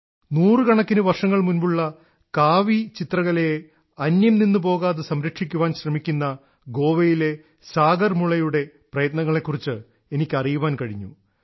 നൂറുകണക്കിന് വർഷങ്ങൾ മുമ്പുള്ള കാവി ചിത്രകലയെ അന്യംനിന്നുപോകാതെ സംരക്ഷിക്കുവാൻ ശ്രമിക്കുന്ന ഗോവയിലെ സാഗർമുളെയുടെ പ്രയത്നങ്ങലെക്കുറിച്ച് എനിക്ക് അറിയാൻ കഴിഞ്ഞു